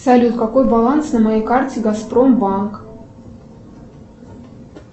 салют какой баланс на моей карте газпромбанк